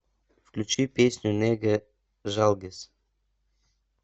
включи песню неге жалгиз